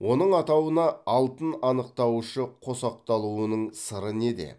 оның атауына алтын анықтауышы қосақталуының сыры неде